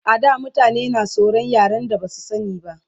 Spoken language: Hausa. A da mutane na tsoran yaren da Basu sani ba